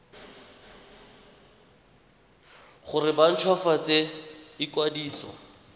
gore ba nt hwafatse ikwadiso